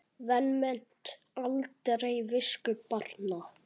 Vanmet aldrei visku barna.